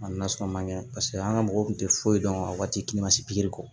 A nasɔn man ɲɛ paseke an ka mɔgɔw kun tɛ foyi dɔn a waati ma se pikiri kɔ